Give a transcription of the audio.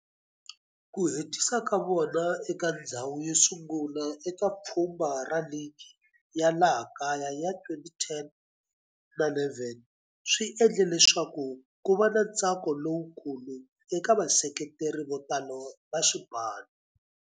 Ku hetisa ka vona eka ndzhawu yosungula eka pfhumba ra ligi ya laha kaya ya 2010 na11 swi endle leswaku kuva na ntsako lowukulu eka vaseketeri vo tala va xipano.